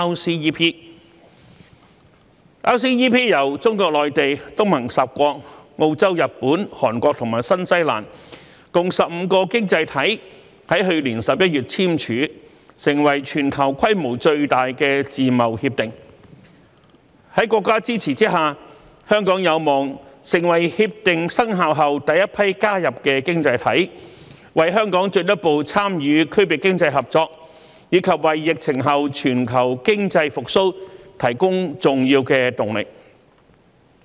RCEP 由中國內地、東盟十國、澳洲、日本、韓國和新西蘭共15個經濟體於去年11月簽署，成為全球規模最大的自貿協定，在國家支持下，香港有望成為協定生效後第一批加入的經濟體，為香港進一步參與區域經濟合作，以及為疫情後全球經濟復蘇提供重要的動力。